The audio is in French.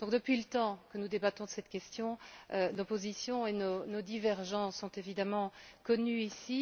Depuis le temps que nous débattons de cette question, l'opposition et nos divergences sont évidemment connues ici.